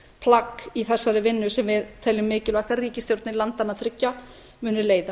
upphafsplagg í þessari vinnu sem við teljum mikilvægt að ríkisstjórnir landanna þriggja muni leiða